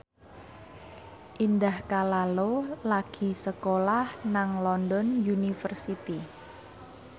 Indah Kalalo lagi sekolah nang London University